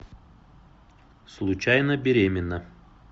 случайно беременна